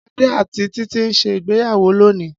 Ade ati Titi n se ìgbéyàwọ́ lònii.